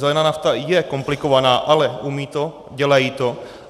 Zelená nafta je komplikovaná, ale umějí to, dělají to.